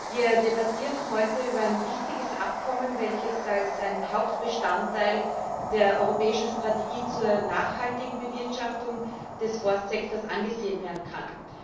Wir debattieren heute über ein wichtiges Abkommen, welches als ein Hauptbestandteil der europäischen Strategie zur nachhaltigen Bewirtschaftung des Forstsektors angesehen werden kann.